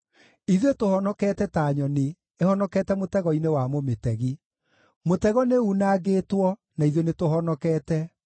Ithuĩ tũhonokete ta nyoni ĩhonokete mũtego-inĩ wa mũmĩtegi; mũtego nĩunangĩtwo, na ithuĩ nĩtũhonokete.